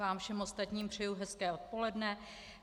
Vám všem ostatním přeji hezké odpoledne.